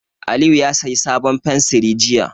Aliyu ya sayi sabon fensiri jiya.